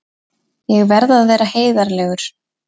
Ég verð að vera heiðarlegur.